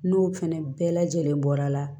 N'o fɛnɛ bɛɛ lajɛlen bɔra